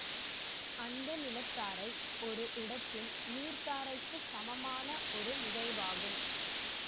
அந்த நிலத்தாரை ஒரு இடத்தின் நீர்த்தாரைக்கு சமமான ஒரு நிகழ்வாகும்